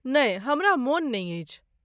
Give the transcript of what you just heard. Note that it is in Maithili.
नहि, हमरा मोन नहि अछि।